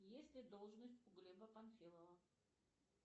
есть ли должность у глеба панфилова